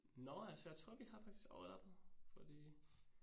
Nåh ja så jeg tror vi har faktisk været på fordi